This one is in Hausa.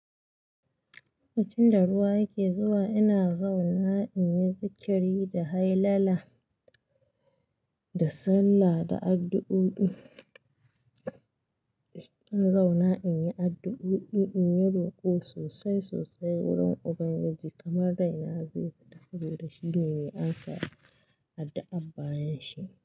Lokacin da ruwa yake zuwa, ina zauna in yi zikiri da hailala da sallah da addu'o'i. In zauna in yi addu'o'i, in yi ruku'o sosai sosai wurin Ubangiji kamar raina zai fita saboda shi ne mai amsa addu'an bayanshi.